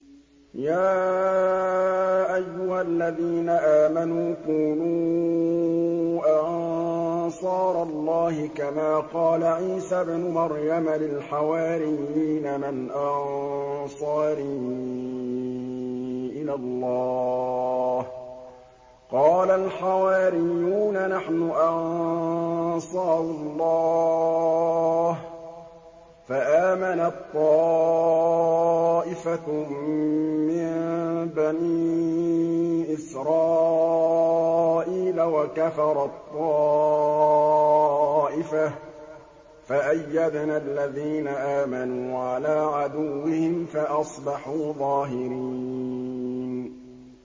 يَا أَيُّهَا الَّذِينَ آمَنُوا كُونُوا أَنصَارَ اللَّهِ كَمَا قَالَ عِيسَى ابْنُ مَرْيَمَ لِلْحَوَارِيِّينَ مَنْ أَنصَارِي إِلَى اللَّهِ ۖ قَالَ الْحَوَارِيُّونَ نَحْنُ أَنصَارُ اللَّهِ ۖ فَآمَنَت طَّائِفَةٌ مِّن بَنِي إِسْرَائِيلَ وَكَفَرَت طَّائِفَةٌ ۖ فَأَيَّدْنَا الَّذِينَ آمَنُوا عَلَىٰ عَدُوِّهِمْ فَأَصْبَحُوا ظَاهِرِينَ